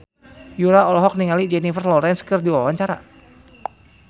Yura olohok ningali Jennifer Lawrence keur diwawancara